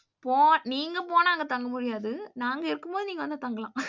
போ நீங்க போனா அங்க தங்க முடியாது. நாங்க இருக்கும்போது நீங்க வந்து தங்கலாம்.